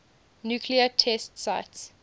nuclear test sites